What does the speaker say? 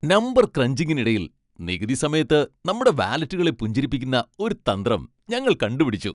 Number ക്രഞ്ചിംഗിനിടയിൽ, നികുതി സമയത്ത് നമ്മുടെ വാലറ്റുകളെ പുഞ്ചിരിപ്പിക്കുന്ന ഒരു തന്ത്രം ഞങ്ങൾ കണ്ടുപിടിച്ചു!